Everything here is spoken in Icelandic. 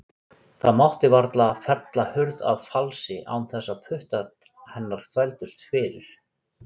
Það mátti varla fella hurð að falsi án þess að puttar hennar þvældust fyrir.